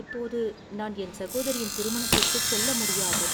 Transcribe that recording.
இப்போது நான் என் சகோதரியின் திருமணத்திற்குச் செல்ல முடியாது.